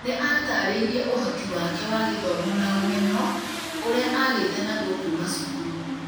nĩ aatarĩirie ũhoti wake wa gĩthomo na ũmenyo ũrĩa agĩte naguo kuuma cukuru.